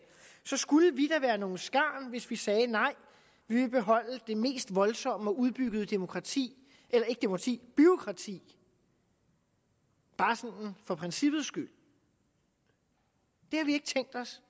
skulle vi da være nogle skarn hvis vi sagde nej vi vil beholde det mest voldsomme og udbyggede bureaukrati bureaukrati bare sådan for princippet skyld det har vi ikke tænkt os